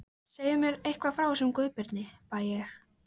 Segðu mér eitthvað frá þessum Guðbirni, bað ég.